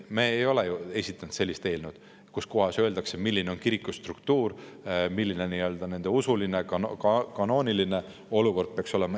Me ei ole ju esitanud sellist eelnõu, kus öeldakse, milline on kiriku struktuur, milline nende usuline ja kanooniline olukord peaks olema.